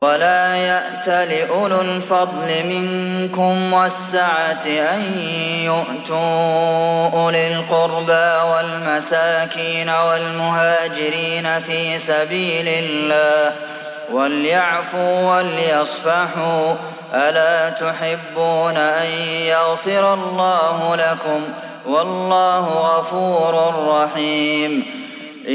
وَلَا يَأْتَلِ أُولُو الْفَضْلِ مِنكُمْ وَالسَّعَةِ أَن يُؤْتُوا أُولِي الْقُرْبَىٰ وَالْمَسَاكِينَ وَالْمُهَاجِرِينَ فِي سَبِيلِ اللَّهِ ۖ وَلْيَعْفُوا وَلْيَصْفَحُوا ۗ أَلَا تُحِبُّونَ أَن يَغْفِرَ اللَّهُ لَكُمْ ۗ وَاللَّهُ غَفُورٌ رَّحِيمٌ